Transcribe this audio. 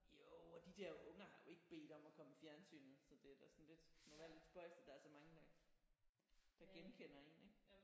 Jo og de der unger har jo ikke bedt om at komme i fjernsynet så det er da sådan lidt må være lidt spøjst at der er så mange der der genkender en ik?